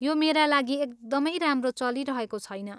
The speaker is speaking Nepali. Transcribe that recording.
यो मेरा लागि एकदमै राम्रो चलिरहेको छैन।